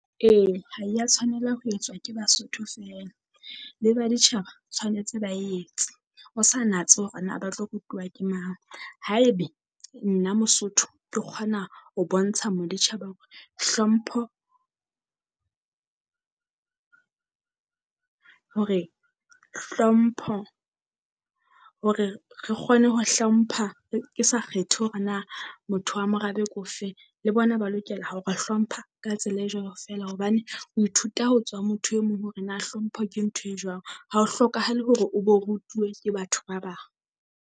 Ee ha ya tshwanela ho etswa ke Basotho feela, le baditjhaba tshwanetse ba etse. Ho sa natse hore na ba tlo rutuwa ke mang, haebe nna Mosotho ke kgona ho bontsha moditjhaba hore hlompho hore hlompho hore re kgone ho hlompha, ke sa kgethe hore na motho wa morabe ke ofeng. Le bona ba lokela ha o re hlompha ka tsela e jwalo feela hobane, o ithuta ho tswa motho e mong hore na hlompho ke ntho e jwang ha o hlokahale hore o bo rutuwe ke batho ba bang.